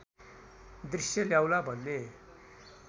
दृश्य ल्याउला भन्ने